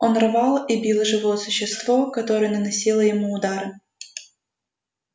он рвал и бил живое существо которое наносило ему удары